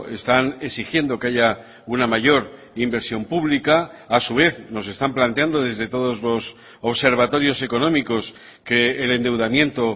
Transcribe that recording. están exigiendo que haya una mayor inversión pública a su vez nos están planteando desde todos los observatorios económicos que el endeudamiento